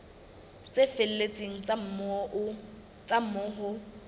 tse felletseng tsa moo ho